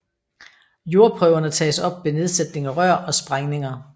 Jordprøverne tages op ved nedsætning af rør og sprængninger